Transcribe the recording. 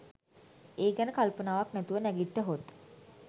ඒ ගැන කල්පනාවක් නැතුව නැගිට්ටහොත්